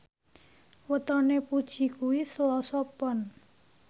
wetone Puji kuwi Selasa Pon